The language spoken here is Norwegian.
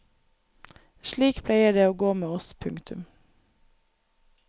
Slik pleier det å gå med oss. punktum